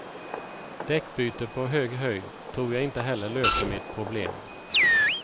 Däckbyte på hög höjd tror jag heller inte löser mitt problem.